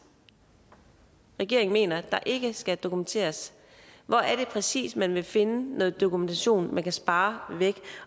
regeringen mener ikke skal dokumenteres hvor er det præcis man kan finde noget dokumentation som man kan spare væk